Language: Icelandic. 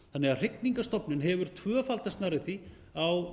þannig að hrygningarstofninn hefur tvöfaldast nærri því á